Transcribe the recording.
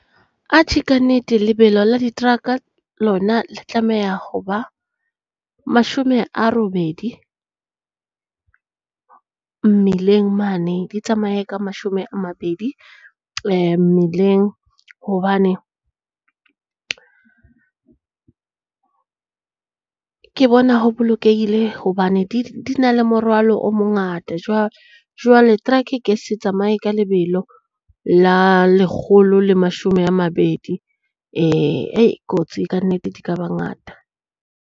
Atjhe kannete lebelo la diteraka lona le tlameha ho ba mashome a robedi. Mmileng mane di tsamaye ka mashome a mabedi mmileng. Hobane ke bona ho bolokehile hobane di di na le morwalo o mongata. Jwale teraka e ke se tsamaye ka lebelo la lekgolo le mashome a mabedi hei kotsi kannete di ka ba ngata.